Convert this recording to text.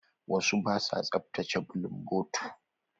Wasu ba sua tsaftace bulunbotu.